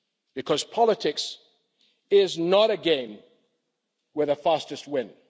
Because politics is not a game where the fastest win.